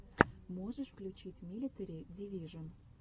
можешь включить милитари дивижон